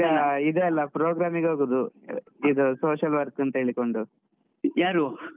ಯಾರು?